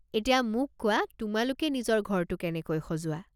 এতিয়া মোক কোৱা, তোমালোকে নিজৰ ঘৰটো কেনেকৈ সজোৱা?